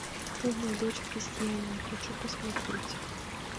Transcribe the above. умная дочь крестьянина хочу посмотреть